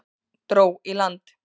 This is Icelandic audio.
Dró í land